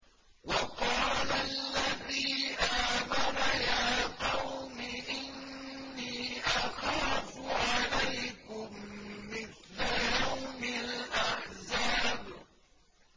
وَقَالَ الَّذِي آمَنَ يَا قَوْمِ إِنِّي أَخَافُ عَلَيْكُم مِّثْلَ يَوْمِ الْأَحْزَابِ